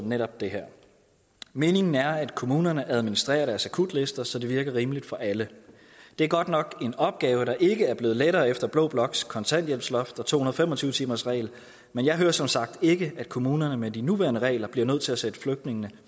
netop det her meningen er at kommunerne administrerer deres akutlister så det virker rimeligt for alle det er godt nok en opgave der ikke er blevet lettere efter blå bloks kontanthjælpsloft og to hundrede og fem og tyve timersregel men jeg hører som sagt ikke at kommunerne med de nuværende regler bliver nødt til at sætte flygtningene